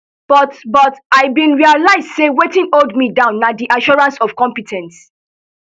but but i bin realise say wetin hold me down na di assurance of compe ten ce